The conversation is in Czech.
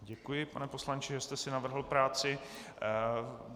Děkuji, pane poslanče, že jste si navrhl práci.